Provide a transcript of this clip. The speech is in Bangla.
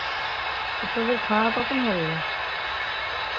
তোদের খাওয়া কখন হবে?